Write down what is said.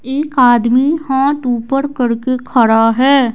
एक आदमी हाथ ऊपर करके खड़ा है।